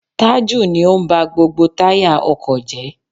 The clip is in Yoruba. Taju ni ó ń ba gbogbo táyà ọkọ̀ jẹ́.